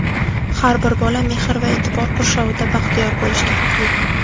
Har bir bola mehr va e’tibor qurshovida baxtiyor bo‘lishga haqli!.